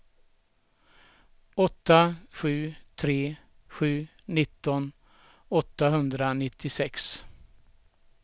åtta sju tre sju nitton åttahundranittiosex